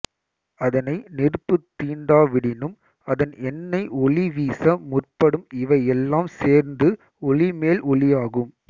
அதனை நெருப்புத் தீண்டாவிடினும் அதன் எண்ணெய் ஒளி வீச முற்படும் இவை எல்லாம் சேர்ந்து ஒளி மேல் ஒளியாகும்